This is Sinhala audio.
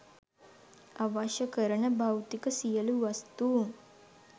අවශ්‍ය කරන භෞතික සියලු වස්තූන්